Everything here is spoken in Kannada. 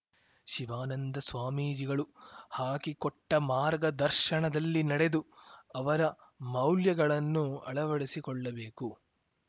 ಶಿವಾನಂದ ಸ್ವಾಮೀಜಿಗಳು ಹಾಕಿಕೊಟ್ಟಮಾರ್ಗ ದರ್ಶನದಲ್ಲಿ ನಡೆದು ಅವರ ಮೌಲ್ಯಗಳನ್ನು ಅಳವಡಿಸಿಕೊಳ್ಳಬೇಕು